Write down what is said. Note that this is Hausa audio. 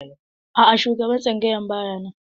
A'a shugaban tsangayar ba ya nan.